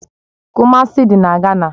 Kumasi dị na Gana